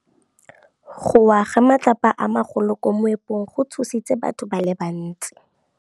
Go wa ga matlapa a magolo ko moepong go tshositse batho ba le bantsi.